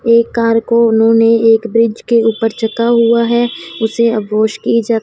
एक कार को उन्होंने एक ब्रिज के ऊपर हुआ है उसे अघोष की ज--